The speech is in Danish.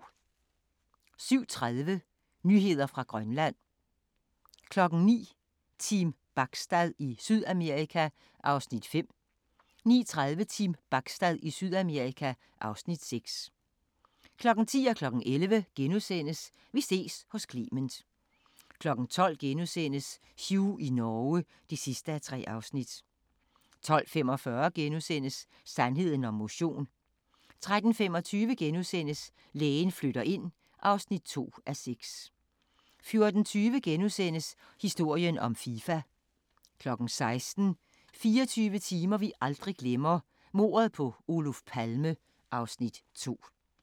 07:30: Nyheder fra Grønland 09:00: Team Bachstad i Sydamerika (Afs. 5) 09:30: Team Bachstad i Sydamerika (Afs. 6) 10:00: Vi ses hos Clement * 11:00: Vi ses hos Clement * 12:00: Hugh i Norge (3:3)* 12:45: Sandheden om motion * 13:35: Lægen flytter ind (2:6)* 14:20: Historien om FIFA * 16:00: 24 timer vi aldrig glemmer - Mordet på Oluf Palme (Afs. 2)